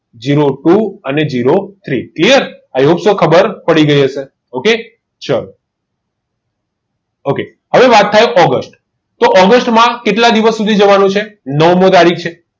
zero two અને zero three clear hope so ખબર પડી ગઈ હશે ઓકે ચાલો તો હવે વાત થાય ઓગસ્ટ તો ઓગસ્ટમાં કેટલા દિવસ સુધી જવાનું છે નવમી તારીખ છે